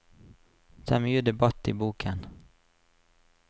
Det er mye debatt i boken.